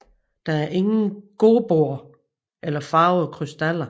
Der er ingen Gobboer eller farvede krystaller